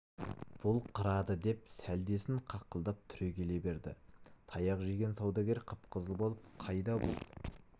бұл қырады деп сәлдесін қаққылап тұрегеле берді таяқ жеген саудагер қып-қызыл болып қайда бұл